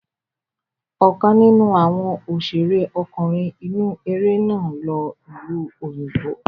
Ọ̀kan nínú àwọn òṣèré ọkùnrin inú eré náà lọ ìlú òyìnbó.